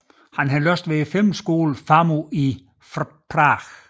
Han har læst ved filmskolen FAMU i Prag